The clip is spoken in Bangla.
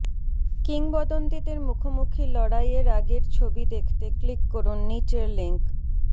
কিংবদন্তীদের মুখোমুখি লড়াইয়ের আগের ছবি দেখতে ক্লিক করুন নিচের লিঙ্ক